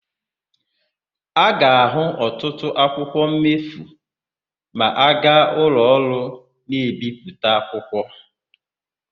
A ga-ahụ ọtụtụ akwụkwọ mmefu ma aga ụlọọrụ na-ebipụta akwụkwọ.